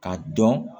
K'a dɔn